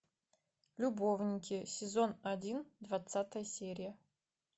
любовники сезон один двадцатая серия